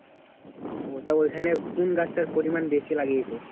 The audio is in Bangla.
ও তা ওইখানে কোন গাছটার পরিমান বেশি লাগিয়েছে?